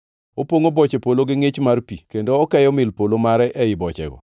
Opongʼo boche polo gi ngʼich mar pi kendo okeyo mil polo mare ei bochego.